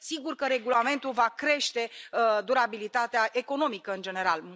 Sigur că regulamentul va crește durabilitatea economică în general.